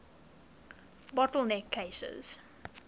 bottle neck cases